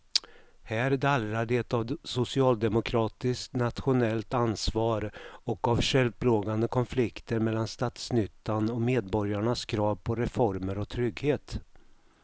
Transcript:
Här dallrar det av socialdemokratiskt nationellt ansvar och av självplågande konflikter mellan statsnyttan och medborgarnas krav på reformer och trygghet.